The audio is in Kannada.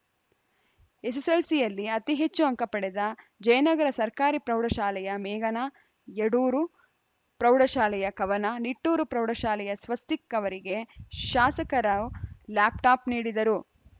ಎಸ್ಸೆಸ್ಸೆಲ್ಸಿಯಲ್ಲಿ ಅತಿ ಹೆಚ್ಚು ಅಂಕ ಪಡೆದ ಜಯನಗರ ಸರ್ಕಾರಿ ಪ್ರೌಢಶಾಲೆಯ ಮೇಘನಾ ಯಡೂರು ಪ್ರೌಢಶಾಲೆಯ ಕವನ ನಿಟ್ಟೂರು ಪ್ರೌಢಶಾಲೆಯ ಸ್ವಸ್ತಿಕ್‌ ಅವರಿಗೆ ಶಾಸಕರಾವ್ ಲ್ಯಾಪ್‌ ಟಾಪ್‌ ನೀಡಿದರು